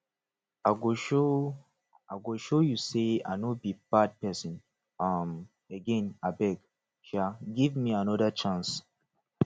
i go show i go show you sey i no be bad pesin um again abeg um give me anoda chance